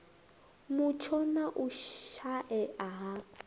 mutsho na u shaea ha